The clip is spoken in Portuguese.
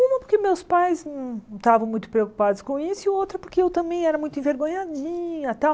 Uma porque meus pais não estavam muito preocupados com isso e outra porque eu também era muito envergonhadinha tal.